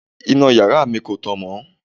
Iná yàrá mi kò tàn mọ́.